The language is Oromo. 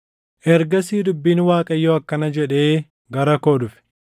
Ergasii dubbiin Waaqayyoo akkana jedhee gara koo dhufe: